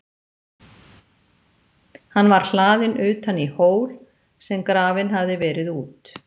Hann var hlaðinn utan í hól, sem grafinn hafði verið út.